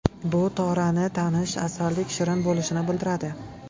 Bu Torani tanish asaldek shirin bo‘lishini bildiradi.